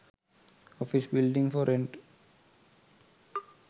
office building for rent